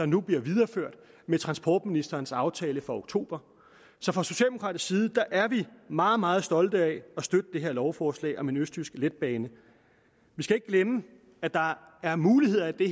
nu bliver videreført med transportministerens aftale fra oktober så fra socialdemokratisk side er vi meget meget stolte af at støtte det her lovforslag om en østjysk letbane vi skal ikke glemme at der er muligheder i